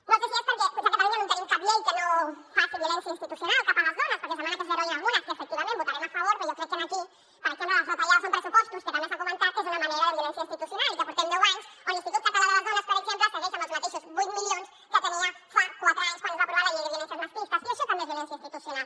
no sé si és perquè potser a catalunya no tenim cap llei que no faci violència institucional cap a les dones perquè es demana que se’n deroguin algunes que efectivament hi votarem a favor però jo crec que aquí per exemple les retallades en pressupostos que també s’ha comentat és una manera de violència institucional i que portem deu anys on l’institut català de les dones per exemple segueix amb els mateixos vuit milions que tenia fa quatre anys quan es va aprovar la llei de violències masclistes i això també és violència institucional